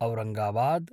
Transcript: Aurangabad